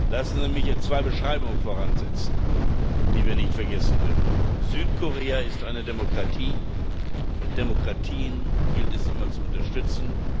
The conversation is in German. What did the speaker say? Lassen Sie mich jetzt zwei Beschreibungen voransetzen, die wir nicht vergessen dürfen Südkorea ist eine Demokratie, und Demokratien gilt es immer zu unterstützen.